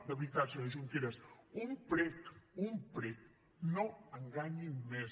de veritat senyor junqueras un prec un prec no enganyin més